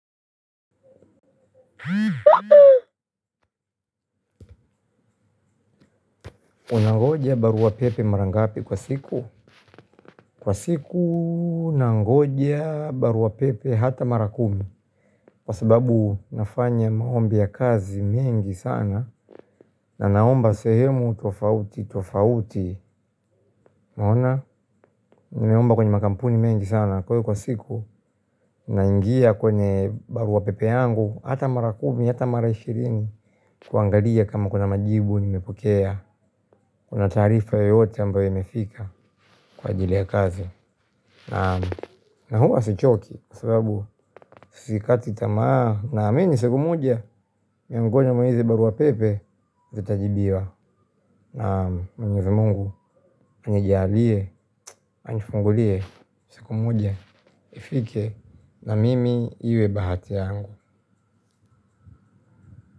Unangoja baruapepe mara ngapi kwa siku? Kwa siku nangoja baruapepe hata mara kumi. Kwa sababu nafanya maombi ya kazi mengi sana. Na naomba sehemu tofauti tofauti. Naona. Nimeomba kwenye makampuni mengi sana. Kwa hio kwa siku naingia kwenye baruapepe yangu. Hata marakumi, hata mara ishirini kuangalia kama kuna majibu nimepokea. Kuna taarifa yoyote ambayo imefika kwa ajili ya kazi. Na huwa sichoki kwa sababu sikati tamaa naamini siku moja miongoni mwa hizi barua pepe zitajibiwa. Na mwenyezi Mungu anijalie anifungulie siku moja nifike. Na mimi iwe bahati yangu.